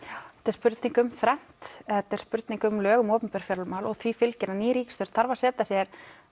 spurning um þrennt þetta spurning um lög um opinber fjármál og því fylgir að ný ríkisstjórn þarf að setja sér